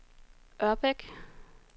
Ørbæk